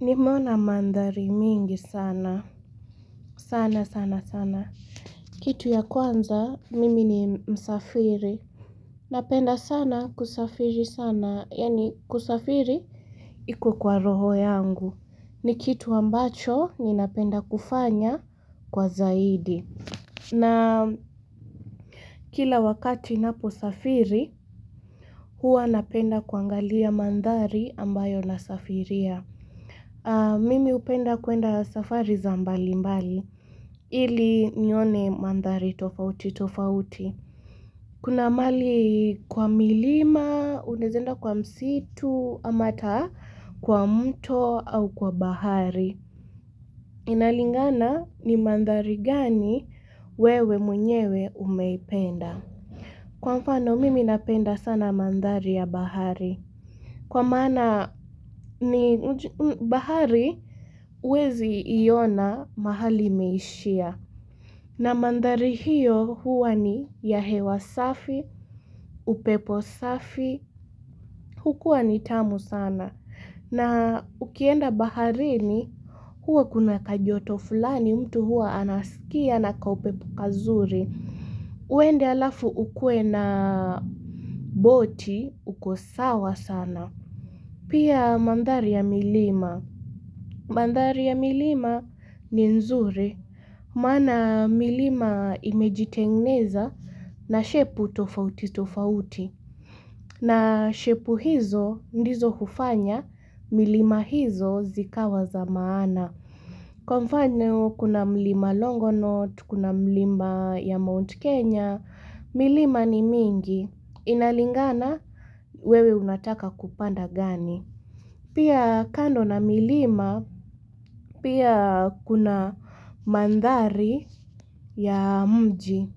Nimeona mandhari mengi sana sana sana sana Kitu ya kwanza mimi ni msafiri Napenda sana kusafiri sana yaani kusafiri iko kwa roho yangu ni kitu ambacho ninapenda kufanya kwa zaidi na kila wakati napo safiri huwa napenda kuangalia mandhari ambayo nasafiria Mimi hupenda kuenda safari za mbali mbali, ili nione mandhari tofauti tofauti. Kuna mahali kwa milima, unaeza enda kwa msitu, ama hata kwa mto au kwa bahari. Inalingana ni mandhari gani wewe mwenyewe umeipenda. Kwa mfano, mimi napenda sana mandhari ya bahari. Kwa maana ni bahari huwezi iona mahali imeishia. Na mandhari hiyo huwa ni ya hewa safi, upepo safi, hukua ni tamu sana. Na ukienda baharini huwa kuna kajoto fulani mtu huwa anasikia na kaupepo kazuri. Uende alafu ukue na boti, uko sawa sana. Pia mandhari ya milima. Mandhari ya milima ni nzuri. Maana milima imejitengeneza na shepu tofauti tofauti. Na shepu hizo ndizo kufanya milima hizo zikawa za maana. Kwa mfano kuna mlima longonot, kuna mlima ya Mount Kenya. Milima ni mingi. Inalingana wewe unataka kupanda gani. Pia kando na milima, pia kuna mandhari ya mji.